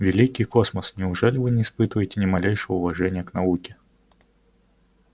великий космос неужели вы не испытываете ни малейшего уважения к науке